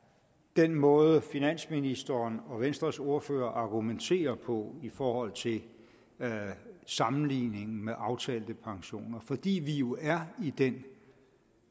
den måde finansministeren og venstres ordfører argumenterer på i forhold til sammenligningen med aftalte pensioner fordi vi jo er i den